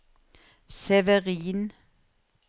Severin